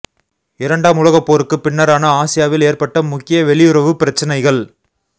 இரண்டாம் உலகப் போருக்குப் பின்னரான ஆசியாவில் ஏற்பட்ட முக்கிய வெளியுறவுப் பிரச்சினைகள்